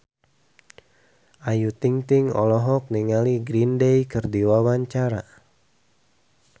Ayu Ting-ting olohok ningali Green Day keur diwawancara